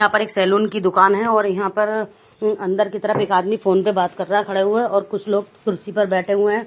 यहाँ पर एक सलून की दुकान है और यहाँ पर अंदर की तरफ एक आदमी फोन पे बात कर रहा है खड़े हुए और कुछ लोग कुर्सी पर बैठे हुए है.